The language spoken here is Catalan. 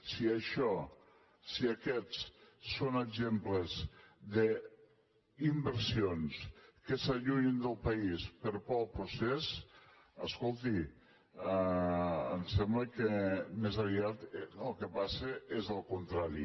si això si aquests són exemples d’inversions que s’allunyen del país per por del procés escolti em sembla que més aviat el que passa és el contrari